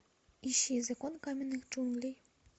ищи закон каменных джунглей